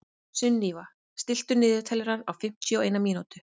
Sunníva, stilltu niðurteljara á fimmtíu og eina mínútur.